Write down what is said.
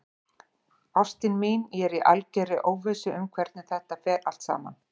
Ástin mín, ég er í algerri óvissu um hvernig þetta fer allt saman.